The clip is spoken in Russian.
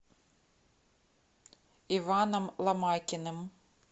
иваном ломакиным